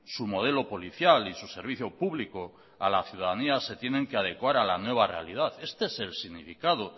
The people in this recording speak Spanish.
su modelo policial y su servicio público a la ciudadanía se tienen que adecuar a la nueva realidad este es el significado